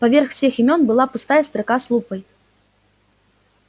поверх всех имён была пустая строка с лупой